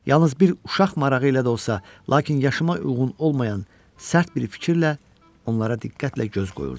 Yalnız bir uşaq marağı ilə də olsa, lakin yaşıma uyğun olmayan sərt bir fikirlə onlara diqqətlə göz qoyurdum.